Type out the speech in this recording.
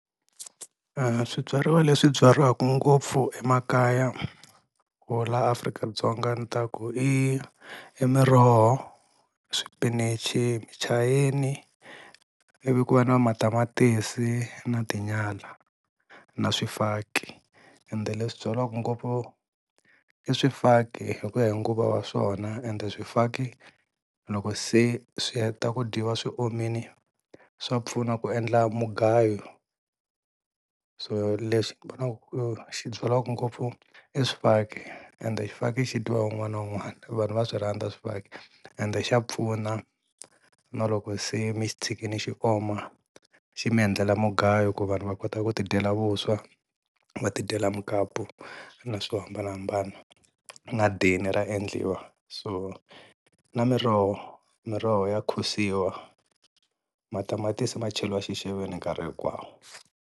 E-e, swibyariwa leswi byariwaku ngopfu emakaya or laha Afrika-Dzonga ni ta ku i Miroho, Swipinichi, Muchayeni ivi ku va na Matamatisi na Tinyala na swifaki, ende leswi byariwaka ngopfu i Swifaki hi ku ya hi nguva ya swona ende Swifaki loko se swi heta ku dyiwa swi omile swa pfuna ku endla mugayo. So lexi ni vonaku xi byariwaka ngopfu i Swifaki and Xifaki xi dyiwa hi wun'wana na wun'wana, vanhu va swi rhandza swifaki and xa pfuna na loko se mi xi tshikile xi oma xi mi endlela mugayo ku vanhu va kotaka ku ti dyela vuswa va tidyela mukapu na swo hambanahambana na dini ra endliwa, so na Miroho, Miroho ya khusiwa Matamatisi macheliwa xixeveni nkarhi hinkwawo.